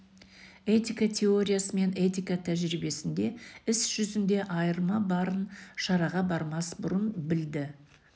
этика теориясы мен этика тәжірибесінде іс жүзінде айырма барын шараға бармас бұрын білді